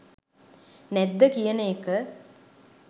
නැද්ද කියන එක